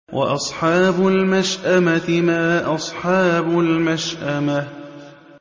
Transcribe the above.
وَأَصْحَابُ الْمَشْأَمَةِ مَا أَصْحَابُ الْمَشْأَمَةِ